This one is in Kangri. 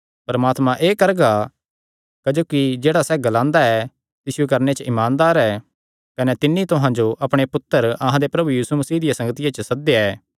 परमात्मा एह़ करगा क्जोकि जेह्ड़ा सैह़ ग्लांदा ऐ तिसियो करणे च ईमानदार ऐ कने तिन्नी तुहां जो अपणे पुत्तर अहां दे प्रभु यीशु मसीह दिया संगतिया च सद्देया ऐ